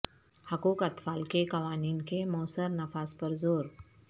حقوق اطفال کے قوانین کے موثر نفاذ پر زور